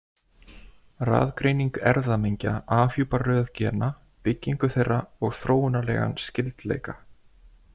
Raðgreining erfðamengja afhjúpar röð gena, byggingu þeirra og þróunarlegan skyldleika.